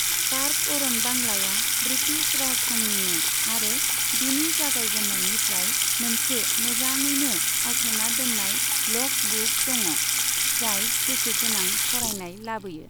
Park अरन बांग्लाया British राज समनिनो आरो बिनि जागायजेननायनिफ्राय मोनसे मोजाङैनो आवथायना दोननाय ल'ग बुक दङ', जाय गोसो गोनां फरायनाय लाबोयो।